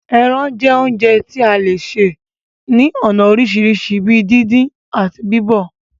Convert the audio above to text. Ẹrán jẹ́ oúnjẹ tí a le sè ní ònà orisirisi bíi díndín, ati bíbọ̀